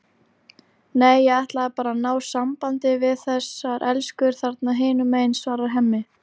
Nei, ég ætlaði bara að ná sambandi við þessar elskur þarna hinum megin, svarar Hemmi.